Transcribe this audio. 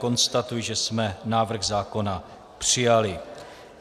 Konstatuji, že jsme návrh zákona přijali.